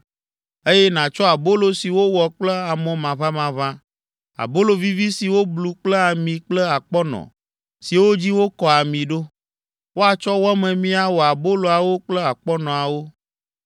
eye nàtsɔ abolo si wowɔ kple amɔ maʋamaʋã, abolo vivi si woblu kple ami kple akpɔnɔ siwo dzi wokɔ ami ɖo. Woatsɔ wɔ memi awɔ aboloawo kple akpɔnɔawo.